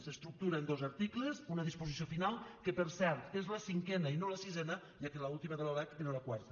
s’estructura en dos articles una disposició final que per cert és la cinquena i no la sisena ja que l’última de la lec era la quarta